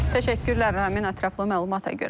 Təşəkkürlər Ramin, ətraflı məlumata görə.